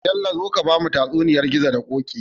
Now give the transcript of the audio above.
Bello zo ka bamu tatsuniyar gizo da koki